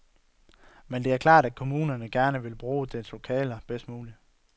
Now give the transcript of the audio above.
Men det er klart, at kommunerne gerne vil bruge deres lokaler bedst muligt.